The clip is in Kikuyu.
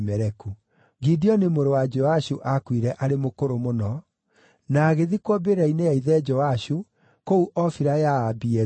Gideoni mũrũ wa Joashu aakuire arĩ mũkũrũ mũno, na agĩthikwo mbĩrĩra-inĩ ya ithe Joashu kũu Ofira ya Aabiezeri.